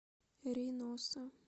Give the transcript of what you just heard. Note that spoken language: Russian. рейноса